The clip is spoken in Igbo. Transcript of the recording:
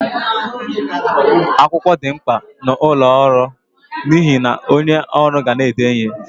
Akwụkwọ di mkpa n'ọlụ ọrụ n'ihe na onye ọrụ ga na-ede ihe.